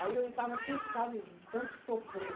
Aí eu já estava cansado de tanto sofrer.